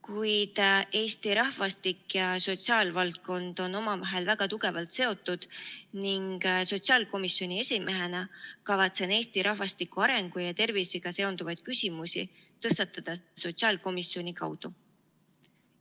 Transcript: Kuid Eesti rahvastik ja sotsiaalvaldkond on omavahel väga tugevalt seotud ning sotsiaalkomisjoni esimehena kavatsen Eesti rahvastiku arengu ja tervisega seonduvaid küsimusi tõstatada sotsiaalkomisjoni kaudu.